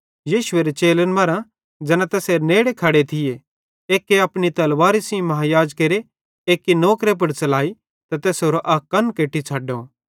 यीशुएरे चेलन मरां ज़ैना तैसेरे नेड़े खड़े थिये एक्के अपनी तलवारे सेइं महायाजकेरे एक्की नौकरे पुड़ च़लाई त तैसेरो अक कन केट्टी छ़ड्डो